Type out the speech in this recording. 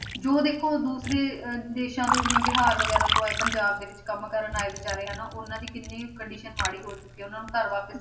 ਜੋ ਦੇਖੋ ਦੂਸਰੇ ਅਹ ਦੇਸਾਂ ਤੋਂ ਜਿਵੇਂ ਬਿਹਾਰ ਵਗ਼ੈਰਾ ਤੋਂ ਆਏ ਪੰਜਾਬ ਦੇ ਵਿੱਚ ਕੰਮ ਕਰਨ ਆਏ ਬੇਚਾਰੇ ਹਨਾ, ਉਹਨਾਂ ਦੀ ਕਿੰਨੀ condition ਮਾੜੀ ਹੋ ਚੁੱਕੀ ਹੈ ਉਹਨਾਂ ਨੂੰ ਘਰ ਵਾਪਿਸ